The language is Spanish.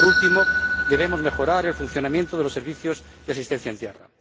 Y, por último, debemos mejorar el funcionamiento de los servicios de asistencia en tierra.